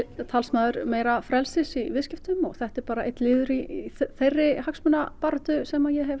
talsmaður meira frelsis í viðskiptum og þetta er bara einn liður í þeirri hagsmunabaráttu sem ég hef